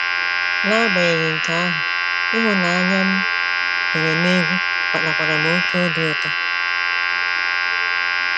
N'agbanyeghị nke ahụ, ịhụnanya m nwere n'egwú kpatakwara m oké obi ụtọ.